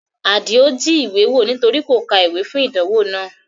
Adio jí ìwé wò nítorí kò ka ìwé fún ìdánwò náà